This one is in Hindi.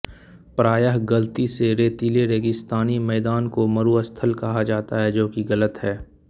प्रायः गलती से रेतीले रेगिस्तानी मैदानों को मरुस्थल कहा जाता है जोकि गलत है